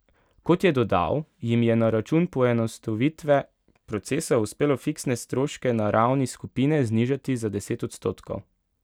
Kot je dodal, jim je na račun poenostavitve procesov uspelo fiksne stroške na ravni skupine znižati za deset odstotkov.